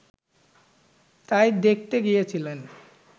তাই দেখতে গিয়েছিলেন